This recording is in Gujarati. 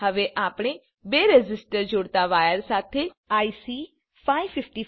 હવે આપણે બે રેઝિસ્ટરને જોડાતા વાયર સાથે આઇસી 555 ની 7 પિન જોડીશું